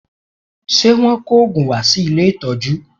Ṣe Wọ́n kò òògùn wá sí ilé ìtọ́jú?